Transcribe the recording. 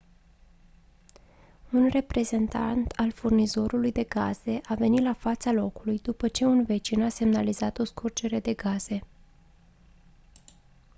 un reprezentant al furnizorului de gaze a venit la fața locului după ce un vecin a semnalat o scurgere de gaze